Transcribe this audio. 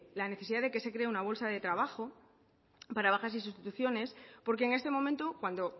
la necesidad que se cree una bolsa de trabajo para bajar y sustituciones porque en este momento cuando